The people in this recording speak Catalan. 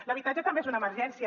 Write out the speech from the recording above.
l’habitatge també és una emergència